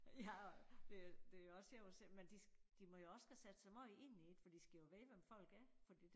Ja og det det også sjovt at se men de de må jo også skal sætte sig måj ind i det fordi de skal jo vide hvem folk er fordi